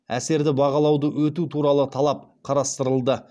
әсерді бағалауды өту туралы талап қарастырылды